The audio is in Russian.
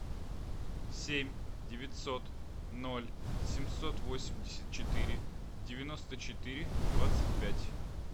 семь девятьсот ноль семьсот восемьдесят четыре девяносто четыре двадцать пять